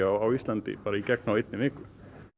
á Íslandi bara í gegn á einni viku